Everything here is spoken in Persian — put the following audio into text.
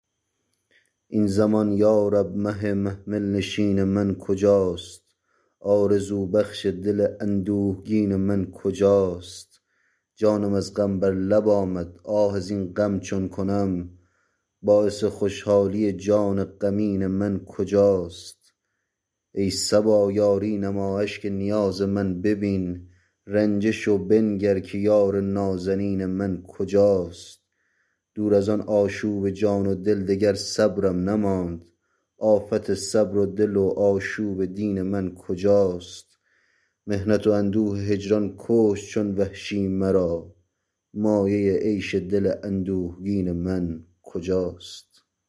این زمان یارب مه محمل نشین من کجاست آرزو بخش دل اندوهگین من کجاست جانم از غم بر لب آمد آه از این غم چون کنم باعث خوشحالی جان غمین من کجاست ای صبا یاری نما اشک نیاز من ببین رنجه شو بنگر که یار نازنین من کجاست دور از آن آشوب جان و دل دگر صبرم نماند آفت صبر و دل و آشوب دین من کجاست محنت و اندوه هجران کشت چون وحشی مرا مایه عیش دل اندوهگین من کجاست